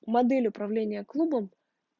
модель управления клубом